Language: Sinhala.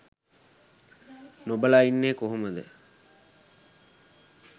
නොබලා ඉන්නේ කොහොමද.